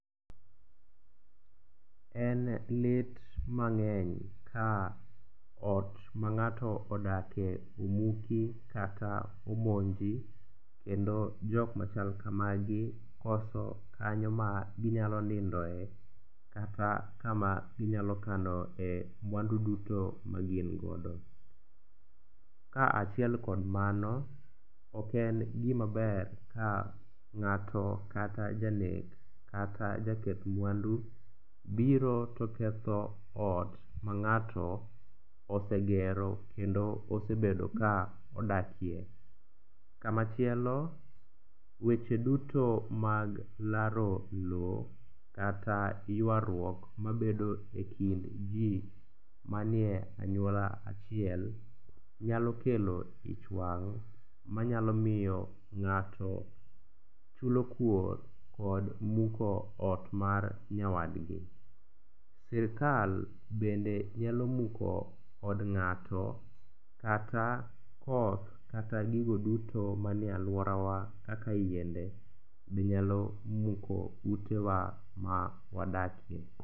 En lit mang'eny ka ot ma ng'ato odake omuki kata omonji kendo jokmachal kamagi koso kanyo ma ginyalo niondoe kata kama ginyalo kanoe mwandu duto magin godo. Kaachiel kod mano, oken gimaber ka ng'ato kata janek kata jaketh mwandu biro to ketho ot ma ng'ato osegero kendo osebedo ka odakie. Kamachielo weche duto mag laro lo kata ywaruok mabedo e kind ji manie anyuola achiel, nyalo kelo ich wang' manyalo miyo ng'ato chulo kuor kod muko ot mar nyawadgi. Sirikal bende nyalo muko od ng'ato kata koth kata gigo duto manie alworawa kaka yiende be nyalo muko utewa mawadakie.